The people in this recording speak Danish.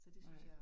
Nej